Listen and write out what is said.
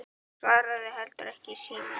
Svaraði heldur ekki í síma.